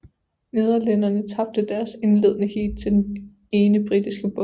Nederlænderne tabte deres indledende heat til den ene britiske båd